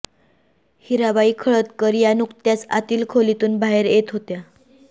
हिराबाई खळदकर या नुकत्याच आतील खोलीतून बाहेर येत होत्या